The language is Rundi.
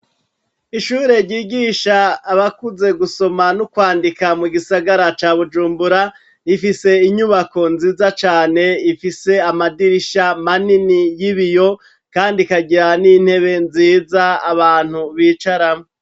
Ishure ryigisha abakuze gusoma n'ukwandika mu gisagara ca Bujumbura, rifise inyubako nziza cane ifise amadirisha manini y'biyo kandi ikagira n'intebe nziza abantu bicarako.